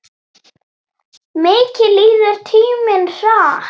Mikið líður tíminn hratt.